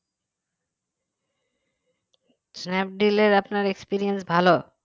স্ন্যাপডিলে আপনার experience ভালো